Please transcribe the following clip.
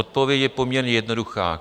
Odpověď je poměrně jednoduchá.